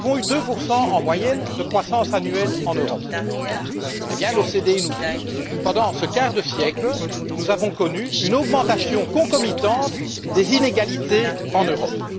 Nous avons eu 2 en moyenne de croissance annuelle en Europe et l'OCDE nous dit que, pendant ce quart de siècle, nous avons connu une augmentation concomitante des inégalités en Europe.